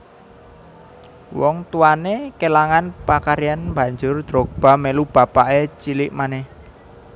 Wong tuwanè kelangan pakaryan banjur Drogba melu bapakè cilik manèh